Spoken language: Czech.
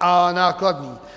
a nákladný.